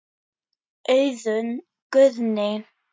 Auðunn Guðni.